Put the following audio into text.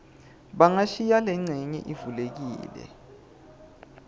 bangashiya lencenye ivulekile